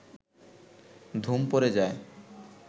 ধুম পড়ে যায়